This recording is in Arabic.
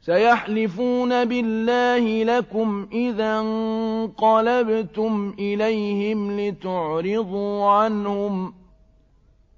سَيَحْلِفُونَ بِاللَّهِ لَكُمْ إِذَا انقَلَبْتُمْ إِلَيْهِمْ لِتُعْرِضُوا عَنْهُمْ ۖ